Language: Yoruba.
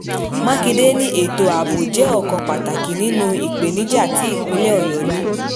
mákindé ní ètò ààbò jẹ́ ọ̀kan pàtàkì nínú ìpèníjà tí ìpínlẹ̀ ọ̀yọ́ ní